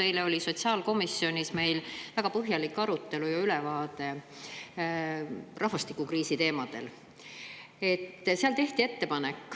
Eile oli meil sotsiaalkomisjonis väga põhjalik arutelu rahvastikukriisi üle ja saime sellest teemast ülevaate.